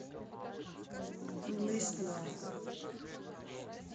лист лаб